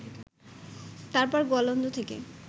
তারপর গোয়ালন্দ থেকে